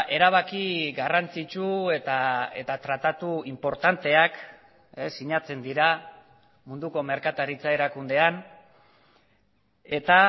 erabaki garrantzitsu eta tratatu inportanteak sinatzen dira munduko merkataritza erakundean eta